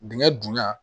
Dingɛ dunya